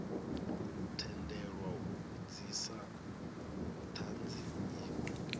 tendelwa u vhudzisa thanzi inwe